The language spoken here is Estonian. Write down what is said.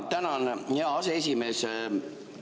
Tänan, hea aseesimees!